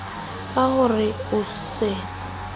ka ho re o se